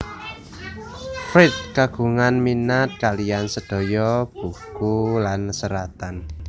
Fried kagungan minat kaliyan sedaya buku lan seratan